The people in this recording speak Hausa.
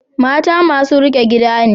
Mata masu riƙe gida ne.